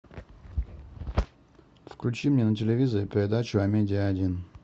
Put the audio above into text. включи мне на телевизоре передачу амедиа один